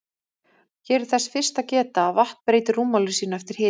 Hér er þess fyrst að geta að vatn breytir rúmmáli sínu eftir hita.